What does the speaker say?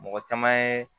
Mɔgɔ caman ye